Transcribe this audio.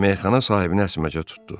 Meyxana sahibini əsməcə tutdu.